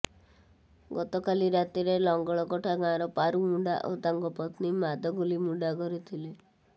ଗତକାଲି ରାତିରେ ଲଙ୍ଗଳକଟା ଗାଁର ପାରୁ ମୁଣ୍ଡା ଓ ତାଙ୍କ ପତ୍ନୀ ମାଦଗଲି ମୁଣ୍ଡା ଘରେ ଥିଲେ